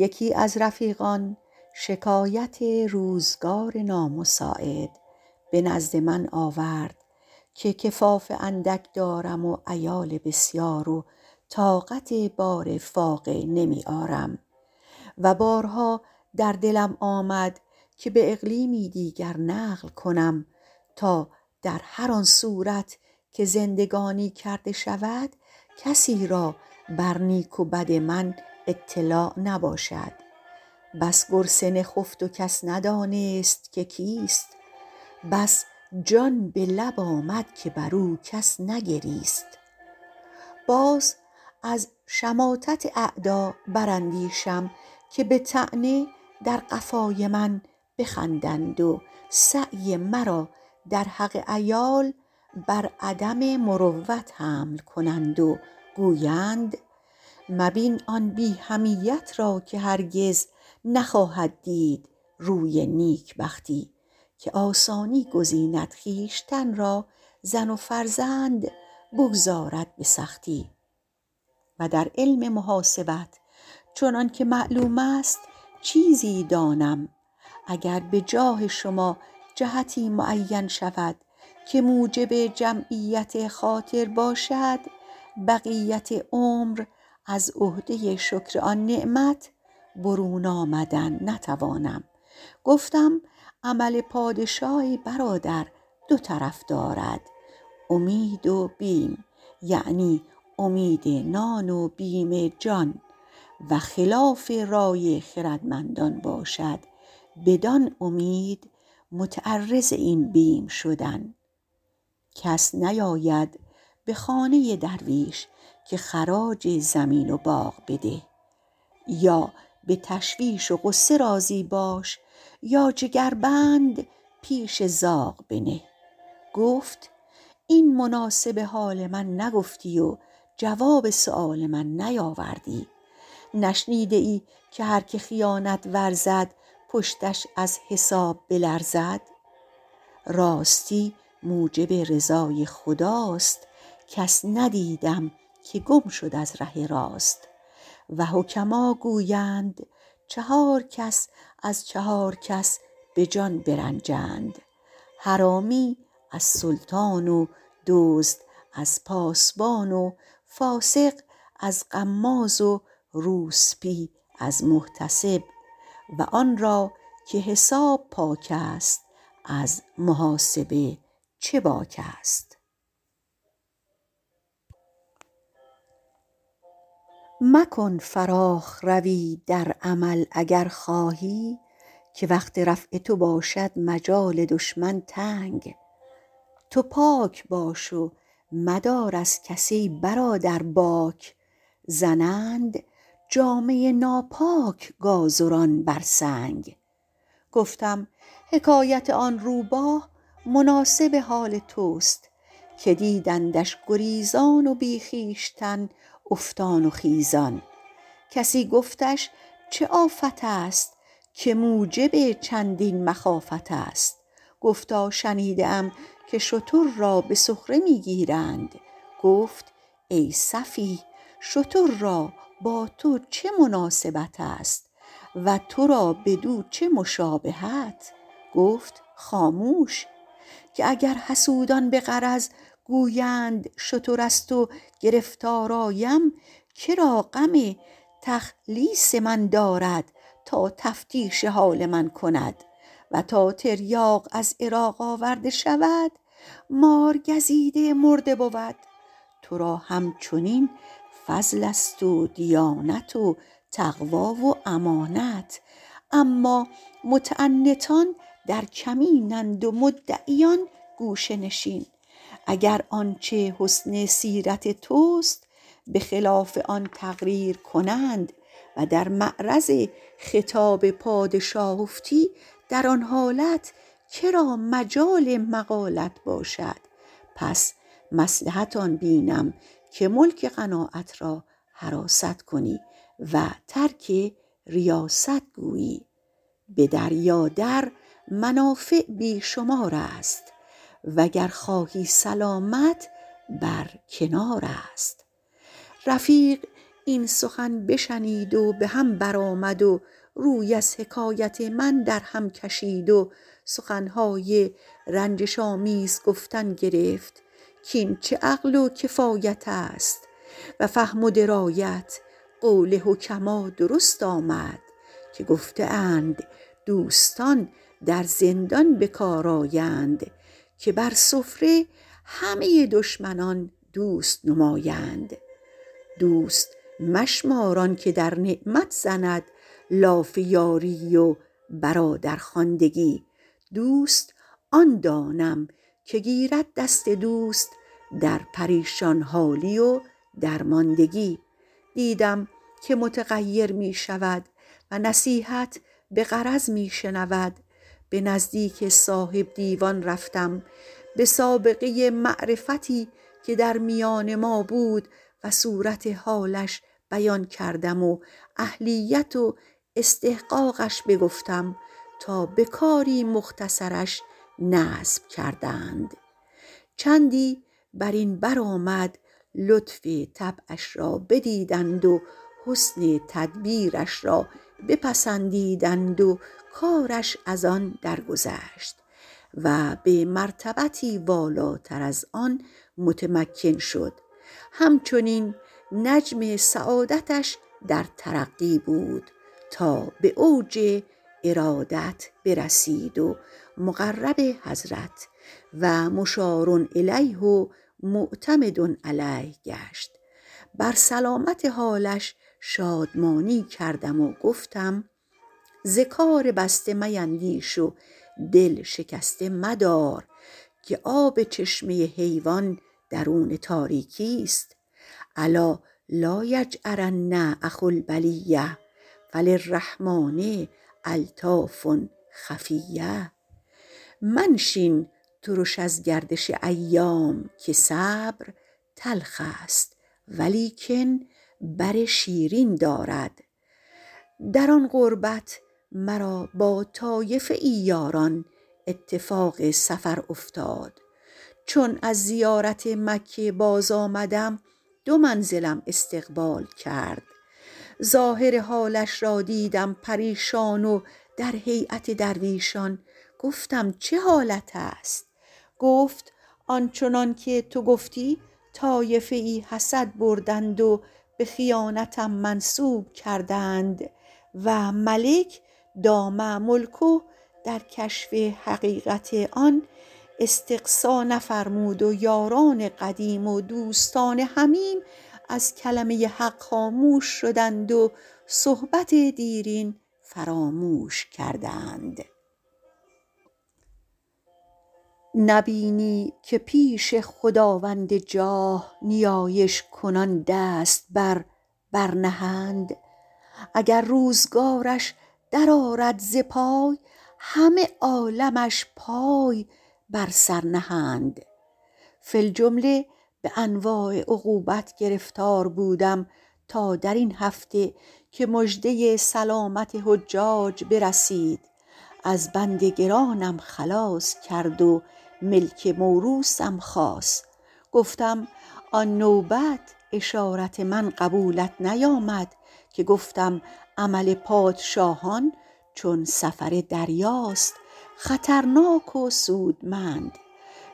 یکی از رفیقان شکایت روزگار نامساعد به نزد من آورد که کفاف اندک دارم و عیال بسیار و طاقت بار فاقه نمی آرم و بارها در دلم آمد که به اقلیمی دیگر نقل کنم تا در هر آن صورت که زندگانی کرده شود کسی را بر نیک و بد من اطلاع نباشد بس گرسنه خفت و کس ندانست که کیست بس جان به لب آمد که بر او کس نگریست باز از شماتت اعدا بر اندیشم که به طعنه در قفای من بخندند و سعی مرا در حق عیال بر عدم مروت حمل کنند و گویند مبین آن بی حمیت را که هرگز نخواهد دید روی نیکبختی که آسانی گزیند خویشتن را زن و فرزند بگذارد به سختی و در علم محاسبت چنان که معلوم است چیزی دانم و گر به جاه شما جهتی معین شود که موجب جمعیت خاطر باشد بقیت عمر از عهده شکر آن نعمت برون آمدن نتوانم گفتم عمل پادشاه ای برادر دو طرف دارد امید و بیم یعنی امید نان و بیم جان و خلاف رای خردمندان باشد بدان امید متعرض این بیم شدن کس نیاید به خانه درویش که خراج زمین و باغ بده یا به تشویش و غصه راضی باش یا جگربند پیش زاغ بنه گفت این مناسب حال من نگفتی و جواب سؤال من نیاوردی نشنیده ای که هر که خیانت ورزد پشتش از حساب بلرزد راستی موجب رضای خداست کس ندیدم که گم شد از ره راست و حکما گویند چهار کس از چهار کس به جان برنجند حرامی از سلطان و دزد از پاسبان و فاسق از غماز و روسبی از محتسب و آن را که حساب پاک است از محاسب چه باک است مکن فراخ روی در عمل اگر خواهی که وقت رفع تو باشد مجال دشمن تنگ تو پاک باش و مدار از کس ای برادر باک زنند جامه ناپاک گازران بر سنگ گفتم حکایت آن روباه مناسب حال توست که دیدندش گریزان و بی خویشتن افتان و خیزان کسی گفتش چه آفت است که موجب مخافت است گفتا شنیده ام که شتر را به سخره می گیرند گفت ای سفیه شتر را با تو چه مناسبت است و تو را بدو چه مشابهت گفت خاموش که اگر حسودان به غرض گویند شتر است و گرفتار آیم که را غم تخلیص من دارد تا تفتیش حال من کند و تا تریاق از عراق آورده شود مارگزیده مرده بود تو را هم چنین فضل است و دیانت و تقوی و امانت اما متعنتان در کمین اند و مدعیان گوشه نشین اگر آنچه حسن سیرت توست به خلاف آن تقریر کنند و در معرض خطاب پادشاه افتی در آن حالت مجال مقالت باشد پس مصلحت آن بینم که ملک قناعت را حراست کنی و ترک ریاست گویی به دریا در منافع بی شمار است و گر خواهی سلامت بر کنار است رفیق این سخن بشنید و به هم بر آمد و روی از حکایت من در هم کشید و سخن های رنجش آمیز گفتن گرفت کاین چه عقل و کفایت است و فهم و درایت قول حکما درست آمد که گفته اند دوستان به زندان به کار آیند که بر سفره همه دشمنان دوست نمایند دوست مشمار آن که در نعمت زند لاف یاری و برادرخواندگی دوست آن دانم که گیرد دست دوست در پریشان حالی و درماندگی دیدم که متغیر می شود و نصیحت به غرض می شنود به نزدیک صاحب دیوان رفتم به سابقه معرفتی که در میان ما بود و صورت حالش بیان کردم و اهلیت و استحقاقش بگفتم تا به کاری مختصرش نصب کردند چندی بر این بر آمد لطف طبعش را بدیدند و حسن تدبیرش را بپسندیدند و کارش از آن درگذشت و به مرتبتی والاتر از آن متمکن شد هم چنین نجم سعادتش در ترقی بود تا به اوج ارادت برسید و مقرب حضرت و مشارالیه و معتمد علیه گشت بر سلامت حالش شادمانی کردم و گفتم ز کار بسته میندیش و دل شکسته مدار که آب چشمه حیوان درون تاریکی است الا لایجأرن اخو البلیة فللرحمٰن الطاف خفیة منشین ترش از گردش ایام که صبر تلخ است ولیکن بر شیرین دارد در آن قربت مرا با طایفه ای یاران اتفاق سفر افتاد چون از زیارت مکه باز آمدم دو منزلم استقبال کرد ظاهر حالش را دیدم پریشان و در هیأت درویشان گفتم چه حالت است گفت آن چنان که تو گفتی طایفه ای حسد بردند و به خیانتم منسوب کردند و ملک دام ملکه در کشف حقیقت آن استقصا نفرمود و یاران قدیم و دوستان حمیم از کلمه حق خاموش شدند و صحبت دیرین فراموش کردند نه بینی که پیش خداوند جاه نیایش کنان دست بر بر نهند اگر روزگارش در آرد ز پای همه عالمش پای بر سر نهند فی الجمله به انواع عقوبت گرفتار بودم تا در این هفته که مژده سلامت حجاج برسید از بند گرانم خلاص کرد و ملک موروثم خاص گفتم آن نوبت اشارت من قبولت نیامد که گفتم عمل پادشاهان چون سفر دریاست خطرناک و سودمند